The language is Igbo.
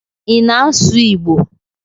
Ị na-asụ Igbo?